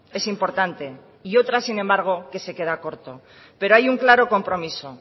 es importante y otras sin embargo que se queda corto pero hay un claro compromiso